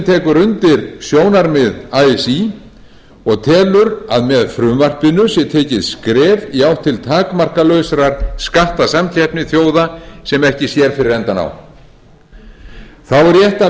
minni hlutinn tekur undir sjónarmið así og telur að með frumvarpinu sé tekið skref í átt til takmarkalausrar skattasamkeppni þjóða sem ekki sér fyrir endann á þá er rétt